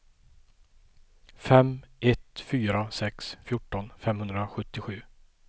fem ett fyra sex fjorton femhundrasjuttiosju